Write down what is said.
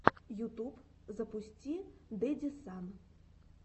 ютуб запусти дэдисан